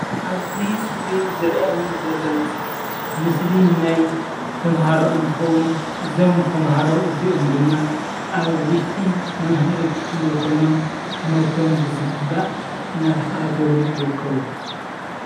ኣብዝ እስክርን ዝርኣየኒ ዘሎ ምስሊ ምስሊ ናይ ተማህሮ እንይትኸውን እዞም ተማህሮ እዚኦም ድማ ኣብ ውሽጢ መምሀሪ ክፍሊ ኮይኖም ትምህርቶም ብዝግባእ እናተከታተሉ ይርከቡ።